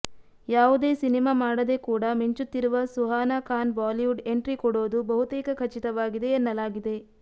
ಯಾವುದೇ ಸಿನಿಮಾ ಮಾಡದೇ ಕೂಡ ಮಿಂಚುತ್ತಿರುವ ಸುಹಾನಾ ಖಾನ್ ಬಾಲಿವುಡ್ ಎಂಟ್ರಿ ಕೊಡೋದು ಬಹುತೇಕ ಖಚಿತವಾಗಿದೆ ಎನ್ನಲಾಗಿದೆ